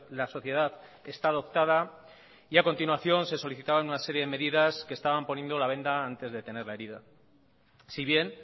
la sociedad está adoptada y a continuación se solicitaban una serie de medidas que estaban poniendo la venda antes de tener la herida si bien